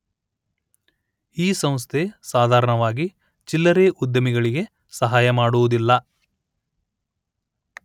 ಈ ಸಂಸ್ಥೆ ಸಾಧಾರಣವಾಗಿ ಚಿಲ್ಲರೆ ಉದ್ಯಮಗಳಿಗೆ ಸಹಾಯ ಮಾಡುವುದಿಲ್ಲ